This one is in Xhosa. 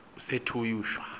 kusetyhusha